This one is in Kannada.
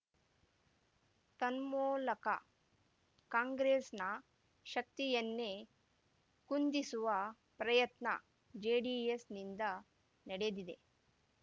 ತನ್ಮೂಲಕ ಕಾಂಗ್ರೆಸ್‌ನ ಶಕ್ತಿಯನ್ನೇ ಕುಂದಿಸುವ ಪ್ರಯತ್ನ ಜೆಡಿಎಸ್‌ನಿಂದ ನಡೆದಿದೆ